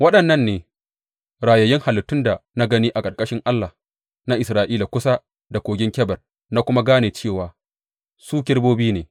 Waɗannan ne rayayyun halittun da na gani a ƙarƙashin Allah na Isra’ila kusa da Kogin Kebar, na kuma gane cewa su kerubobi ne.